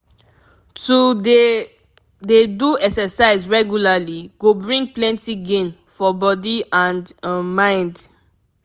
to dey dey do exercise regularly go bring plenty gain for body and um mind